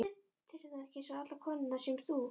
Telurðu þá ekki eins og allar konurnar sem þú?